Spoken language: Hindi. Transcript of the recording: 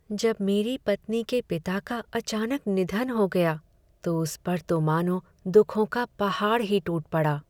जब मेरी पत्नी के पिता का अचानक निधन हो गया तो उस पर तो मानो दुखों का पहाड़ ही टूट पड़ा।